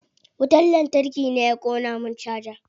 Wutar lantarki ne ya ƙona min caja.